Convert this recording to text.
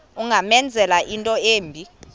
ungamenzela into embi